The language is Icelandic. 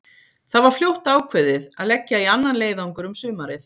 Það var fljótt ákveðið að leggja í annan leiðangur um sumarið.